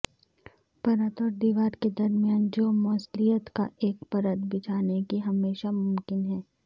پرت اور دیوار کے درمیان جو موصلیت کا ایک پرت بچھانے کی ہمیشہ ممکن ہے